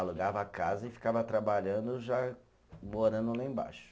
Alugava a casa e ficava trabalhando, já morando lá embaixo.